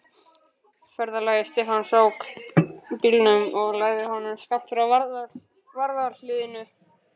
Ferðafélagi Stefáns ók bílnum og lagði honum skammt frá varðhliðinu.